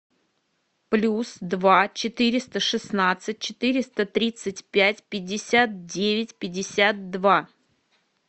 плюс два четыреста шестнадцать четыреста тридцать пять пятьдесят девять пятьдесят два